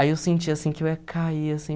Aí eu senti, assim, que eu ia cair, assim.